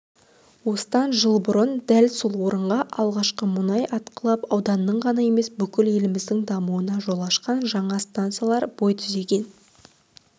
осыдан жыл бұрын дәл сол орында алғашқы мұнай атқылап ауданның ғана емес бүкіл еліміздің дамуына жол ашқан жаңа стансалар бой түзеген